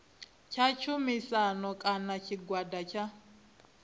tsha tshumisano kana tshigwada tsha